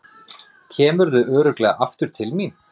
Kemurðu örugglega aftur til mín?